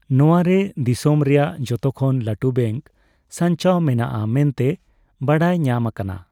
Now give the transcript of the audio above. ᱱᱚᱣᱟᱨᱮ ᱫᱤᱥᱚᱢ ᱨᱮᱭᱟᱜ ᱡᱚᱛᱚᱠᱷᱚᱱ ᱞᱟᱹᱴᱩ ᱵᱮᱝᱠ ᱥᱟᱧᱪᱟᱣ ᱢᱮᱱᱟᱜᱼᱟ ᱢᱮᱱᱛᱮ ᱵᱟᱲᱟᱭ ᱧᱟᱢ ᱟᱠᱟᱱᱟ ᱾